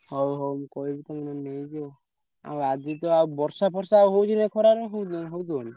ହଉ ହଉ ମୁଁ କହିବି ତମେ ନହେଲେ ନେଇ ଯିବ ଆଉ ଆଜିତ ଆଉ ବର୍ଷା ଫର୍ଷା ହଉଛି ନା ଏଇ ଖରାରେ ହଉଛି ନା ହଉଛି କଣ?